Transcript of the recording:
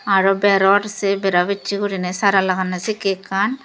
aro beror sey berabessey guriney sey sara laganney sekkey ekkan.